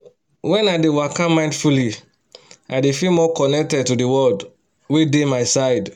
when i dey waka mindfully i dey feel more connected to the world wey dey my side